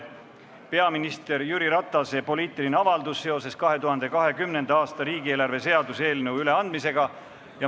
Peaminister Jüri Ratase poliitiline avaldus seoses 2020. aasta riigieelarve seaduse eelnõu üleandmisega.